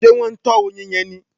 Ṣé wọ́n ń tọ oyin yẹn ni?